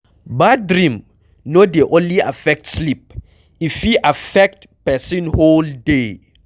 Bad dream no dey only affect sleep, e fit affect person whole day